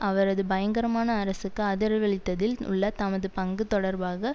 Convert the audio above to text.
அவரது பயங்கரமான அரசுக்கு ஆதரவளித்ததில் உள்ள தமது பங்கு தொடர்பாக